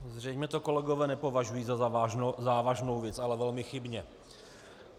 Zřejmě to kolegové nepovažují za závažnou věc, ale velmi chybně.